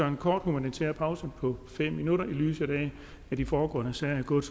en kort humanitær pause på fem minutter i lyset af at de foregående sager er gået